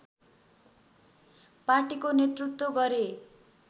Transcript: पार्टीको नेतृत्व गरे